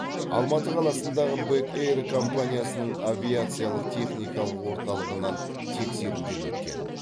алматы қаласындағы бек эйр компаниясының авиациялық техникалық орталығынан тексеруден өткен